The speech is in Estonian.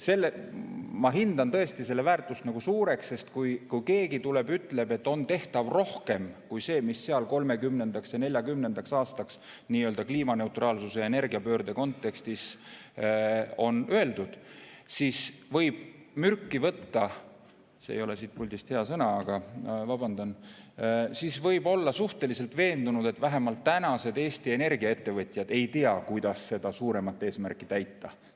Ma tõesti pean selle väärtust suureks, sest kui keegi tuleb ja ütleb, et on tehtav rohkem kui see, mis seal 2030.–2040. aastaks kliimaneutraalsuse ja energiapöörde kontekstis on öeldud, siis võib mürki võtta – see ei ole siit puldist öelduna hea väljend ja ma vabandan –, aga siis võib olla suhteliselt veendunud, et vähemalt praegused Eesti Energia ettevõtjad ei tea, kuidas seda suuremat eesmärki täita.